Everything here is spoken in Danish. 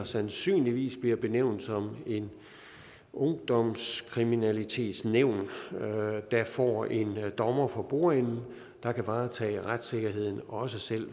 sandsynligvis bliver benævnt et ungdomskriminalitetsnævn får en dommer for bordenden der kan varetage retssikkerheden også selv